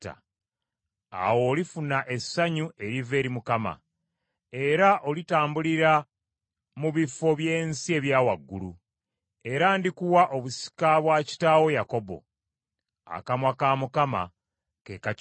awo olifuna essanyu eriva eri Mukama era olitambulira mu bifo by’ensi ebya waggulu era ndikuwa obusika bwa kitaawo Yakobo” Akamwa ka Mukama ke kakyogedde.